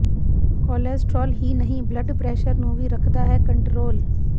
cholesterol ਹੀ ਨਹੀਂ blood pressure ਨੂੰ ਵੀ ਰਖਦਾ ਹੈ ਕੋਟਰੰਲ